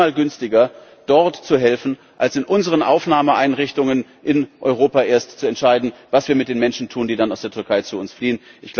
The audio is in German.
Es ist allemal günstiger, dort zu helfen, als erst in unseren Aufnahmeeinrichtungen in Europa zu entscheiden, was wir mit den Menschen tun, die dann aus der Türkei zu uns fliehen.